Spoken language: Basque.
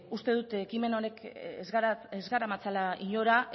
bueno ba uste dut ekimen honek ez garamatzala inora